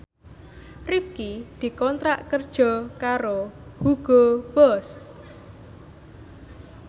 Rifqi dikontrak kerja karo Hugo Boss